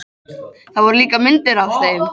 Það voru líka myndir af þeim.